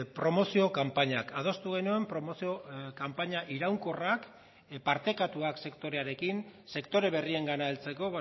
promozio kanpainak adostu genuen promozio kanpaina iraunkorrak partekatuak sektorearekin sektore berriengana heltzeko